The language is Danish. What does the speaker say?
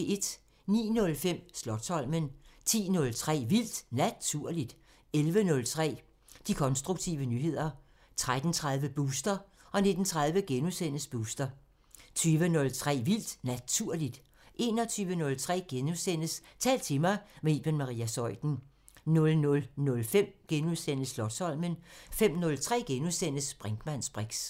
09:05: Slotsholmen 10:03: Vildt Naturligt 11:03: De konstruktive nyheder 13:30: Booster 19:30: Booster * 20:03: Vildt Naturligt * 21:03: Tal til mig – med Iben Maria Zeuthen * 00:05: Slotsholmen * 05:03: Brinkmanns briks *